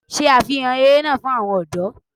Ṣe àfihàn eré náà fún àwọn ọ̀dọ́